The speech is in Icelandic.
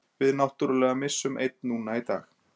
Við náttúrulega missum einn núna í dag.